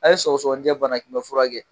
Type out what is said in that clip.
A ye sɔgɔsɔgɔnijɛ banakunbɛn fura kɛ